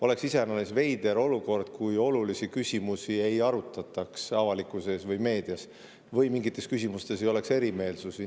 Oleks iseäranis veider olukord, kui olulisi küsimusi ei arutataks avalikkuses või meedias või mingites küsimustes ei oleks erimeelsusi.